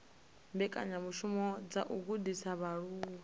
mbekanyamishumo dza u gudisa vhaaluwa